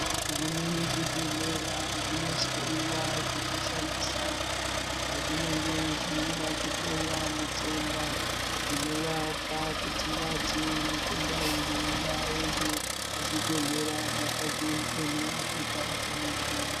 Zvimweni zvibhedhlera zvinoshaiwa zvekushandisa pazvinenge zveida kuhloya mutenda zvinovapa kuti vati mutenda uyu ngaaende kuzvibhedhlera zvakazviemera zvega zvinodhura.